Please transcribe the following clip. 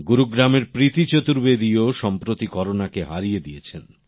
গুরুগ্রামের প্রীতি চতুর্বেদী ও সম্প্রতি করোনা কে হারিয়ে দিয়েছেন